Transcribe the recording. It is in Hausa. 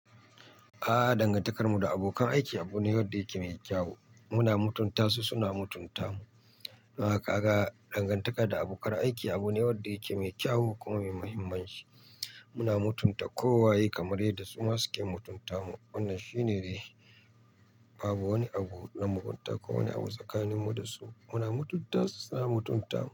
A'a, dangantakarmu da abokan aiki, abu ne wanda yake mai kyau. Muna mutunta su, suna mutunta mu. Toh kaga dangantaka da abokan aiki abu ne, wanda yake mai kyau kuma mai muhimmanci. Muna mutunta kowaye, kamar yadda su ma suke mutunta mu. Wannan shine dai. Babu wani abu na mugunta, ko wani abu tsakaninmu da su. Muna mutunta su, suna mutunta mu.